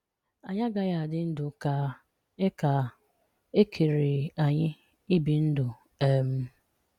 Anyị agaghị adị ndụ ka e ka e kere anyị ibi ndụ. um